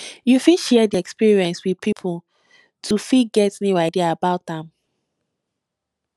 you fit share di experience with pipo to fit get new idea about am